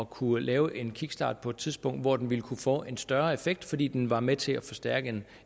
kunne lave en kickstart på et tidspunkt hvor den ville kunne få en større effekt fordi den var med til at forstærke